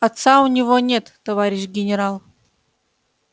отца у него нет товарищ генерал